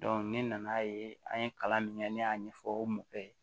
ne nan'a ye an ye kalan min kɛ ne y'a ɲɛfɔ mɔgɔ ye